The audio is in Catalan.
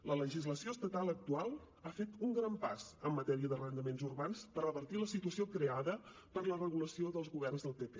la legislació estatal actual ha fet un gran pas en matèria d’arrendaments urbans per revertir la situació creada per la regulació dels governs del pp